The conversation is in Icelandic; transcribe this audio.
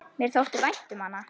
Mér þótti vænt um hana.